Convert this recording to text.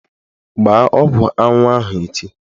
Gbaa ọgwụ anwụ ahụ echi!